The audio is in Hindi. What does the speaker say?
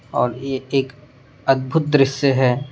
और ये एक अद्धभुत दृश्य है।